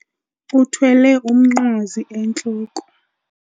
Uthwele umnqwazi entloko.